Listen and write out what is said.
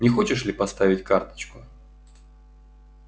не хочешь ли поставить карточку